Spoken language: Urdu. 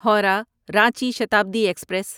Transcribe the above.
ہورہ رانچی شتابدی ایکسپریس